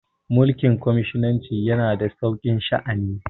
mulikin cominisanci yana da sauki sha'ani